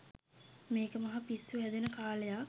මේක මහ පිස්සු හැදෙන කාලයක්